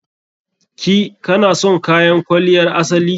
Ki/ka na son kayan kwaliyar asali?